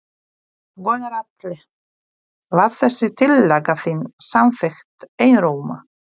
Gunnar Atli: Var þessi tillaga þín samþykkt einróma?